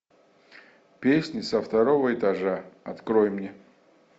песни со второго этажа открой мне